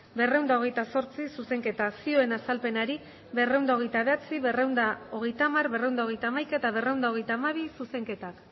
berrehun eta hogeita zortzi zuzenketa zioen azalpenari berrehun eta hogeita bederatzi berrehun eta hogeita hamar berrehun eta hogeita hamaika eta berrehun eta hogeita hamabi zuzenketak